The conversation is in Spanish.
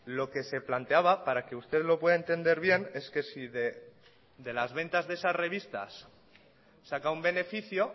lo que se planteaba para que usted lo pueda entender bien es que si de las ventas de esas revistas saca un beneficio